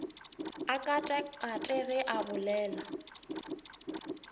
a katakate ge a bolela